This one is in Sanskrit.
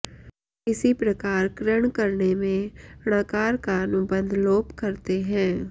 इसी प्रकार कृञ् करणे में ञकार का अनुबन्ध लोप करते हैं